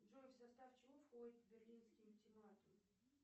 джой в состав чего входит берлинский ультиматум